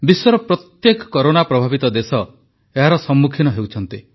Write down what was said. ବିଶ୍ୱର ପ୍ରତ୍ୟେକ କରୋନା ପ୍ରଭାବିତ ଦେଶ ଏହାର ସମ୍ମୁଖୀନ ହେଉଛନ୍ତି